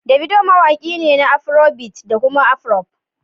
Davido mawaƙi ne na Afrobeat da kuma Afroop